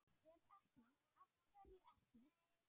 Ef ekki, AF HVERJU EKKI?